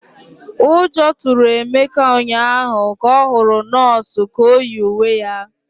Ụjọ tụrụ Emeka ụnyahụ ka ọ hụrụ nọọsụ ka o yi uwe ya